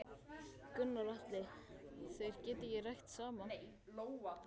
Gunnar Atli: Þeir geta ekki rætt saman?